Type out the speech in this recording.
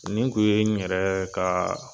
Nin kun ye n yɛrɛɛ kaa